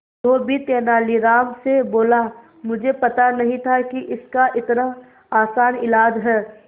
धोबी तेनालीराम से बोला मुझे पता नहीं था कि इसका इतना आसान इलाज है